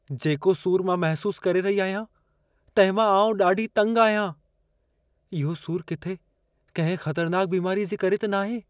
जेको सूर मां महसूसु करे रही आहियां, तंहिंमां आउं ॾाढी तंग आहियां। इहो सूरु किथे कंहिं ख़तरनाकु बीमारीअ जे करे त नाहे?